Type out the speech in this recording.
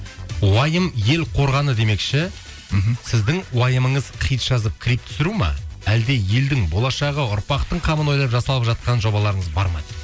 уайым ел қорғаны демекші мхм сіздің уайымыңыз хит жазып клип түсіру ме әлде елдің болашағы ұрпақтың қамын ойлап жасалып жатқан жобаларыңыз бар ма